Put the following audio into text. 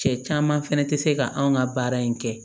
Cɛ caman fɛnɛ tɛ se ka anw ka baara in kɛ